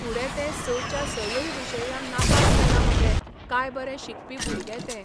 फूडे ते स च्या सयूय विशयान नापास जाला मगे काय बरें शिकपी भुरगें तें